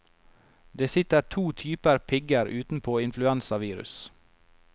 Det sitter to typer pigger utenpå influensavirus.